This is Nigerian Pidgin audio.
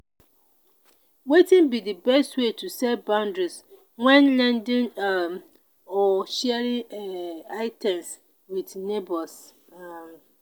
wetin be di best way to set boundaries when lending um or sharing um items with neighbors? um